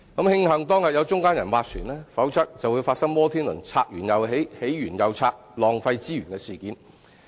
慶幸當日有中間人斡旋，否則便會發生摩天輪"拆完又起、起完又拆"，浪費資源的事件。